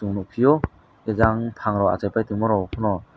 chung nog pio jang pangrok achaipai tongma rok pono.